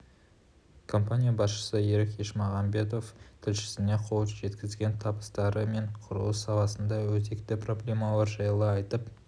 компания басшысы серік ешмағамбетов тілшісіне қол жеткізген табыстары мен құрылыс саласындағы өзекті проблемалар жайлы айтып